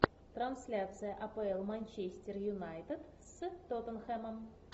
трансляция апл манчестер юнайтед с тоттенхэмом